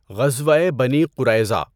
غزوۂ بنی قُرَیظَہ۔